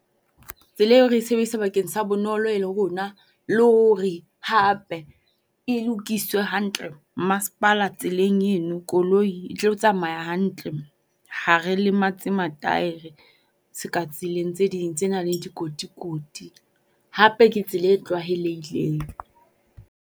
Tsela eo re sebedisa bakeng sa bonolo e le rona. Le hore hape e lokiswe hantle masepala tseleng eno koloi e tlo tsamaya a hantle ha re lematse mataere se ka tseleng tse ding tse nang le dikotikoti. Hape ke tsela e tlwahelehileng.